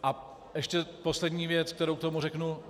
A ještě poslední věc, kterou k tomu řeknu.